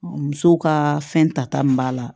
Muso ka fɛn tata min b'a la